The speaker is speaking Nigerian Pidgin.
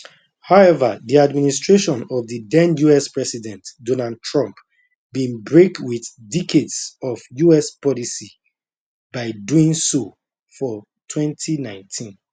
however di administration of di den us president donald trump bin break with decades of us policy by doing so for 2019